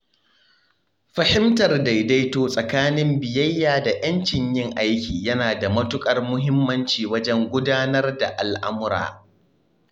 Fahimtar daidaito tsakanin biyayya da 'yancin yin aiki yana da matuƙar muhimmanci wajen gudanar da al'amura.